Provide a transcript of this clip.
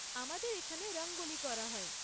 আমাদের এখানে রঙ্গোলী করা হয়।